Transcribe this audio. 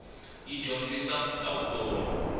yi dyondzisa ta vutomi